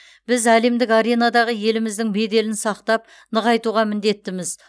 біз әлемдік аренадағы еліміздің беделін сақтап нығайтуға міндеттіміз